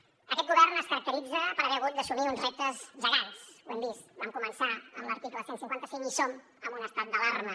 aquest govern es caracteritza per haver hagut d’assumir uns reptes gegants ho hem vist vam començar amb l’article cent i cinquanta cinc i som en un estat d’alarma